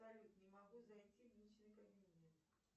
салют не могу зайти в личный кабинет